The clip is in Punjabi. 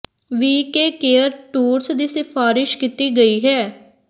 ਵੀ ਕੇ ਕੇਅਰ ਟੂਰਸ ਦੀ ਸਿਫਾਰਸ਼ ਕੀਤੀ ਗਈ ਹੈ